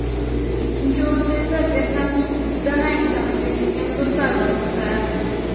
Ikkinchi o‘rinda esa Vyetnamning Danang shahrida yashagan do‘stlar bormoqda.